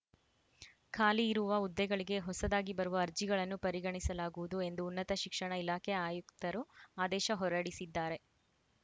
ಖಾಲಿ ಇರುವ ಹುದ್ದೆಗಳಿಗೆ ಹೊಸದಾಗಿ ಬರುವ ಅರ್ಜಿಗಳನ್ನು ಪರಿಗಣಿಸಲಾಗುವುದು ಎಂದು ಉನ್ನತ ಶಿಕ್ಷಣ ಇಲಾಖೆ ಆಯುಕ್ತರು ಆದೇಶ ಹೊರಡಿಸಿದ್ದಾರೆ